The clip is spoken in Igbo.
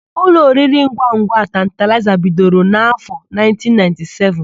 Ụlọ oriringwangwa Tantalaịza bidoro n'áfọ̀ 1997.